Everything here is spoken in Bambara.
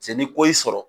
Se ni ko y'i sɔrɔ